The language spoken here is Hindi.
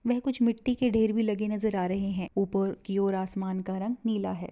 वह कुछ मिट्ठी के ढेर भी लगी नजर आ रहे है ऊपर की और आसमान का रंग नीला है।